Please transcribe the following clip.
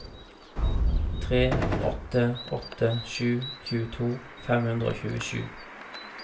tre åtte åtte sju tjueto fem hundre og tjuesju